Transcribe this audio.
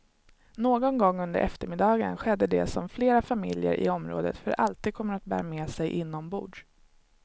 Någon gång under eftermiddagen skedde det som flera familjer i området för alltid kommer att bära med sig inombords.